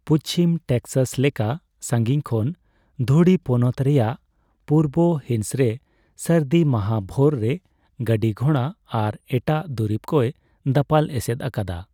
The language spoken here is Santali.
ᱯᱩᱪᱷᱤᱢ ᱴᱮᱠᱥᱟᱥ ᱞᱮᱠᱟ ᱥᱟᱹᱜᱤᱧ ᱠᱷᱚᱱ ᱫᱷᱩᱲᱤ ᱯᱚᱱᱚᱛ ᱨᱮᱭᱟᱜ ᱯᱩᱨᱵᱚ ᱦᱤᱸᱥᱨᱮ ᱥᱟᱹᱨᱫᱤ ᱢᱟᱦᱟ ᱵᱷᱳᱨ ᱨᱮ ᱜᱟᱹᱰᱤᱼᱜᱷᱚᱬᱟ ᱟᱨ ᱮᱴᱟᱜ ᱫᱩᱨᱤᱵᱽ ᱠᱚᱭ ᱫᱟᱯᱟᱞ ᱮᱥᱮᱫ ᱟᱠᱟᱫᱟ ᱾